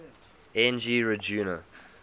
n g rjuna